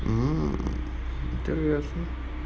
мм интересно